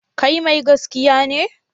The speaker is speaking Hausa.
Kai mai gaskiya ne?